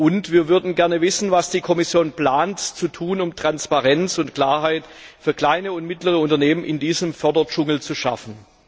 Und wir würden gerne wissen, was die Kommission beabsichtigt zu tun, um Transparenz und Klarheit für kleine und mittlere Unternehmen in diesem Förderdschungel zu schaffen.